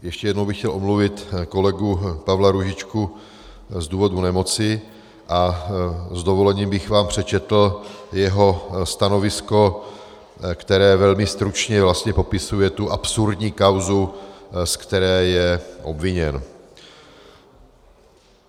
Ještě jednou bych chtěl omluvit kolegu Pavla Růžičku z důvodu nemoci a s dovolením bych vám přečetl jeho stanovisko, které velmi stručně vlastně popisuje tu absurdní kauzu, ze které je obviněn.